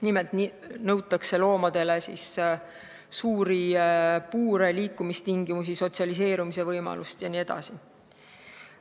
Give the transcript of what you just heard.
Nimelt nõutakse loomadele suuri puure, liikumistingimusi, sotsialiseerumisvõimalust jne.